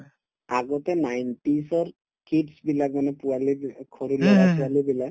আগতে nineteen ৰ kids বিলাক মানে পোৱালিবিলা সৰু লৰা -ছোৱালিবিলাক